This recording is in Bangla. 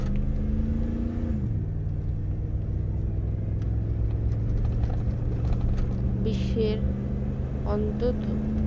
বিশ্বের অন্তত